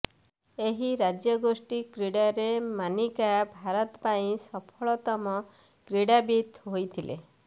ଏହି ରାଜ୍ୟଗୋଷ୍ଠୀ କ୍ରୀଡ଼ାରେ ମାନିକା ଭାରତ ପାଇଁ ସଫଳତମ କ୍ରୀଡ଼ାବିତ୍ ହୋଇଥିଲେ